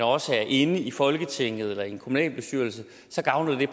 også er inde i folketinget eller i en kommunalbestyrelse så gavner det